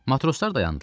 Matroslar dayandılar.